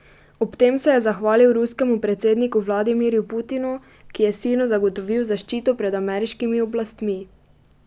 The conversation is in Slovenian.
Ob tem se je zahvalil ruskemu predsedniku Vladimirju Putinu, ki je sinu zagotovil zaščito pred ameriškimi oblastmi.